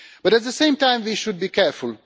But at the same time we should be careful.